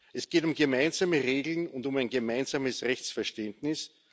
Es geht um gemeinsame Regeln und um ein gemeinsames Rechtsverständnis.